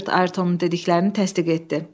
Robert Ayrtonun dediklərini təsdiq etdi.